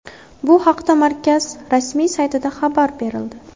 Bu haqda markaz rasmiy saytida xabar berildi.